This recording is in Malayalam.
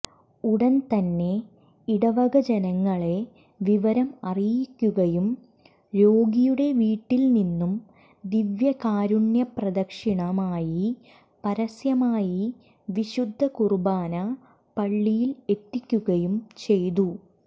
ഉടൻതന്നെ ഇടവകജനങ്ങളെ വിവരം അറിയിക്കുകയും രോഗിയുടെ വീട്ടിൽ നിന്നും ദിവ്യകാരുണ്യപ്രദക്ഷിണമായി പരസ്യമായി വിശുദ്ധ കുർബാന പള്ളിയിൽ എത്തിക്കുകയും ചെയ്തു